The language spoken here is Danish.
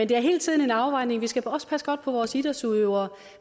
det er hele tiden en afvejning vi skal også passe godt på vores idrætsudøvere